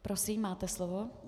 Prosím, máte slovo.